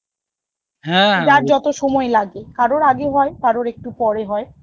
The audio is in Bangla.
যার যত সময় লাগে, কারোর আগে হয় কারোর একটু পরে হয়